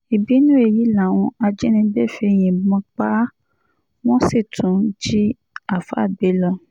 ìbínú èyí làwọn ajínigbé fi yìnbọn pa á wọ́n sì tún jí àáfàá gbé lọ